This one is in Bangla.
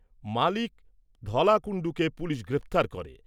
মালিক ধলা কুণ্ডুকে পুলিশ গ্রেপ্তার করে।